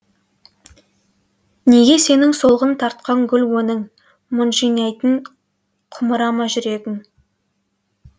негесенің солғын тартқан гүл өңің мұңжинайтын құмыра ма жүрегің